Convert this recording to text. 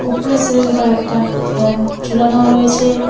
উপরে সিলিং -এ কয়েকটা ফ্যান ঝুলানো রয়েছে।